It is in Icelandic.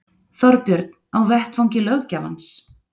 Þorbjörn: Á vettvangi löggjafans?